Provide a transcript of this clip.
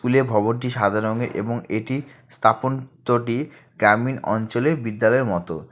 স্কুলের ভবনটি সাদা রংয়ের এবং এটি স্থাপন চটি গ্রামীণ অঞ্চলের বিদ্যালয়ের মতো।